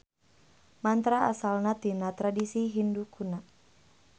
Mantra asalna tina tradisi Hindu kuna.